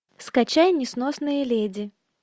скачай несносные леди